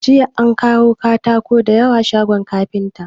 Jiya an kawo katako da yawa shagon kafinta.